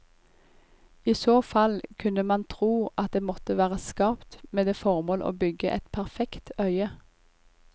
I så fall kunne man tro at det måtte være skapt med det formål å bygge et perfekt øye.